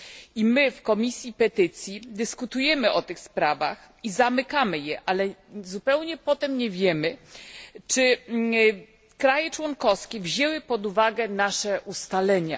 I my w Komisji Petycji dyskutujemy o tych sprawach i zamykamy je, ale zupełnie potem nie wiemy, czy kraje członkowskie wzięły pod uwagę nasze ustalenia.